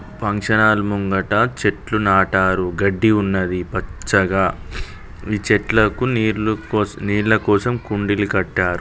Function hall ముంగట చెట్లు నాటారు గడ్డి ఉన్నది పచ్చగా ఈ చెట్లకు నీళ్ళు కోస్ నీళ్ళ కోసం కుండీలు కట్టారు.